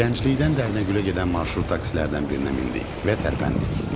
Gənclikdən Dərnəgülə gedən marşrut taksilərdən birinə mindik və tərpəndik.